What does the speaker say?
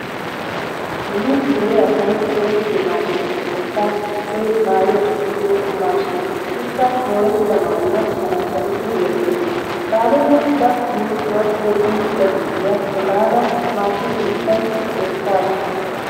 Nu dere asay go'ettiyo maashinetuppekka issoy maayuwa tokkosiyo maashiniya. Ikka moorettida maayuwa shanashanidi loyttees. Baalota ba wurccuwa yeddiichchida gurddiya efaada maashine. keettan loyttaasu.